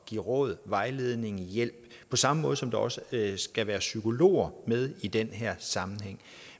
give råd vejledning og hjælp på samme måde som der også skal være psykologer med i den her sammenhæng